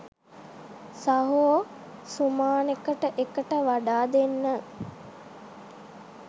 සහෝ සුමානෙට එකට වඩා දෙන්න